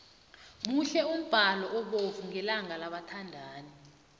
muhle umbalo obovu ngelanga labathandani